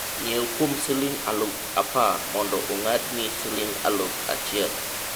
nyiew kuom siling' aluf apar moyo ong'ad ni siling' aluf achiel